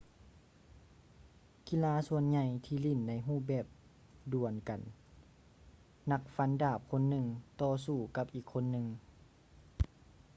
ກິລາສ່ວນໃຫຍ່ທີ່ຫຼິ້ນໃນຮູບແບບດວນກັນ ນັກຟັນດາບຄົນໜຶ່ງຕໍ່ສູ້ກັບອີກຄົນໜຶ່ງ